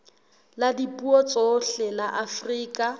la dipuo tsohle la afrika